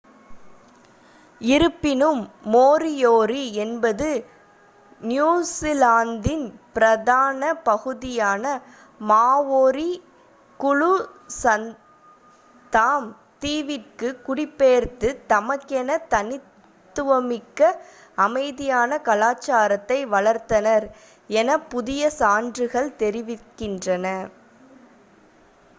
இருப்பினும் மோரியோரி என்பது நியூஜிலாந்தின் பிரதான பகுதியான மாஓரி குழு சத்தாம் தீவிற்கு குடிபெயர்ந்து தமக்கென தனித்துவமிக்க அமைதியான கலாசாரத்தை வளர்த்தனர் என புதிய சான்றுகள் தெரிவிக்கின்றன